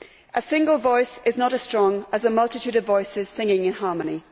A single voice is not as strong as a multitude of voices singing in harmony.